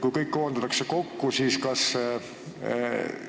Kui kõik koondatakse kokku, kas siis kõik